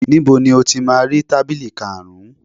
Níbo ni o ti máa rí tábìlì karùn-ún